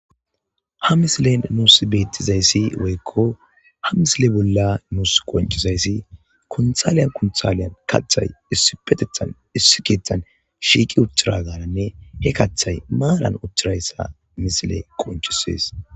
Ha misilen nuus bettizayssi woykko ha misile bolla nuus qonchizayssi konthaliyan konthalyan kathay issipetethan issikeethan shiiqi utthiragananne he kathay maalan uthirayssa misile qonchisees.